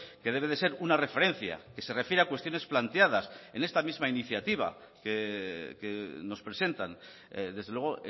que debe de ser una referencia que se refiere a cuestiones planteadas en esta misma iniciativa que nos presentan desde luego